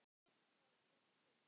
Það var frekar súrt.